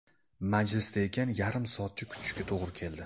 Majlisda ekan, yarim soatcha kutishga to‘g‘ri keldi.